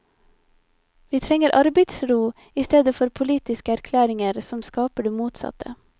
Vi trenger arbeidsro i stedet for politiske erklæringer som skaper det motsatte.